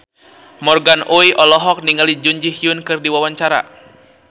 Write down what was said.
Morgan Oey olohok ningali Jun Ji Hyun keur diwawancara